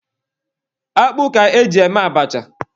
Akpụ ka e ji eme abacha.